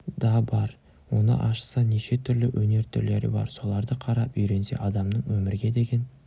да бар оны ашса неше түрлі өнер түрлері бар соларды қарап үйренсе адамның өмірге деген